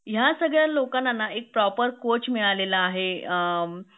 ह्या सगळी लोकांनाना एक प्रॉपर कोच मिळालेला आहे